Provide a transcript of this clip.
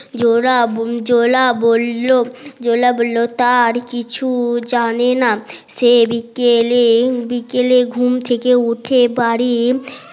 জোলা জোলা বললো জোলা বললো তার কিছু জানে না সে বিকেলে বিকেলে ঘুম থেকে উঠে বাড়ি